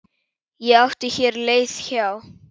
Ég átti hér leið hjá.